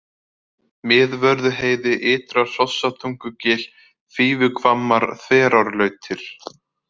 Miðvörðuheiði, Ytra-Hrossatungugil, Fífuhvammar, Þverárlautir